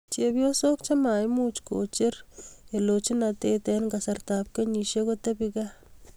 Chepyosook chemaimuchii koocher eeloojnateet eng' kasarta ap kenyisiek kotebii gaa